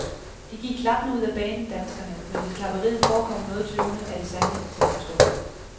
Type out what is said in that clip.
De gik klappende ud af banen, danskerne, men hvis klapperiet forekom noget tøvende, er det sandelig til at forstå.